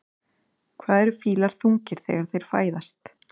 Hvað eru fílar þungir þegar þeir fæðast?